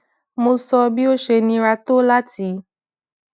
mo so bi o se nira to lati